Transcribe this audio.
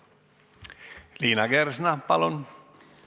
Liina Kersna, palun!